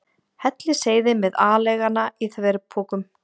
Hellisheiði með aleiguna í þverpokum.